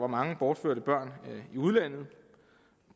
mange bortførte børn i udlandet